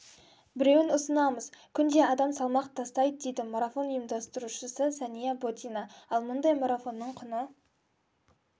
біреуін ұсынамыз күнде адам салмақ тастайды дейді марафон ұйымдастырушысы сәния ботина ал мұндай марафонның құны